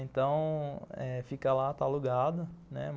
Então eh fica lá, está alugada, né.